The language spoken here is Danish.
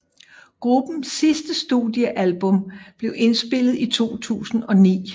Gruppens sidste studiealbum blev indspillet i 2009